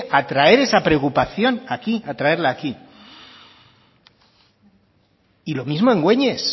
a traer esa preocupación aquí a traerla aquí y lo mismo en güeñes